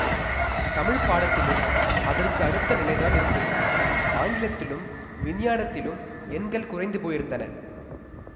தமிழ்ப்பாடத்திலும் அதற்கு அடுத்த நிலைதான் இருந்தது ஆங்கிலத்திலும் விஞ்ஞானத்திலும் எண்கள் குறைந்து போயிருந்தன